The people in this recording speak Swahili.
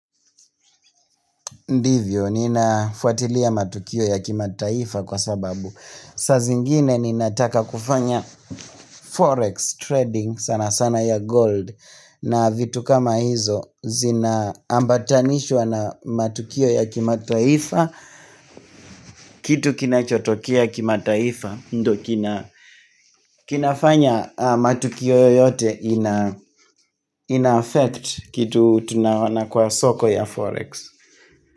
Ndivyo, ninafuatilia matukio ya kima taifa kwa sababu. Saa zingine ninataka kufanya forex trading sana sana ya gold na vitu kama hizo zinaambatanishwa na matukio ya kimataifa. Kitu kinachotokea kima taifa, ndo kinafanya matukio yote ina effect kitu tunaona kwa soko ya forex.